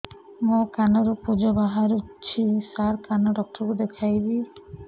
ମୋ କାନରୁ ପୁଜ ବାହାରୁଛି ସାର କାନ ଡକ୍ଟର କୁ ଦେଖାଇବି